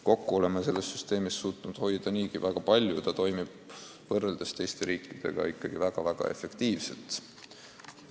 Kokku oleme suutnud hoida niigi väga palju ja meie süsteem toimib võrreldes teiste riikide omaga ikka väga efektiivselt.